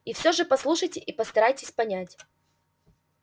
и всё же послушайте и постарайтесь понять